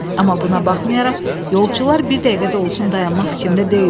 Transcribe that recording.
Amma buna baxmayaraq, yolçular bir dəqiqə də olsun dayanmaq fikrində deyildilər.